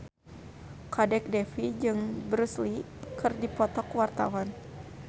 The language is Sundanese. Kadek Devi jeung Bruce Lee keur dipoto ku wartawan